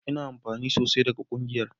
Ina amfana sosai daga ƙungiyar